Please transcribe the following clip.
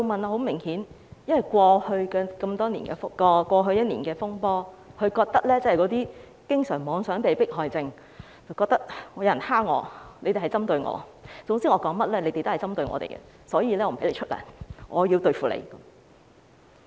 很明顯是因為在過去一年的風波中，"經常妄想被迫害症"令他認為有人欺負他、針對他，總之說甚麼都是針對他，所以便不發薪給他們，要對付他們。